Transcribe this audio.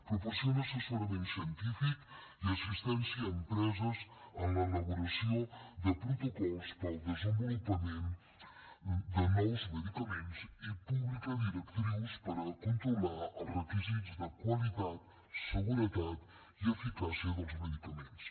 proporciona assessorament científic i assistència a empreses en l’elaboració de protocols per al desenvolupament de nous medicaments i publica directrius per controlar els requisits de qualitat seguretat i eficàcia dels medicaments